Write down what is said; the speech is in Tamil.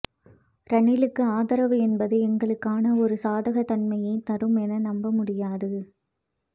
ரணிலுக்கு ஆதரவு என்பது எங்களுக்கான ஒரு சாதக தன்மையை தரும் என நம்ப முடியாது